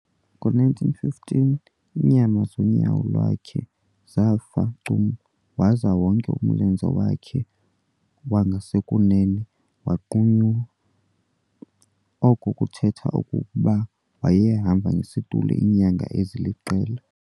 Ngo1915, iinyama zonyawo lwakhe zafa cum waza wonke umlenze wakhe wangasekunene wanqunyulwa, oko kuthetha okokuba wayehamba ngesitulo iinyanga eziliqela.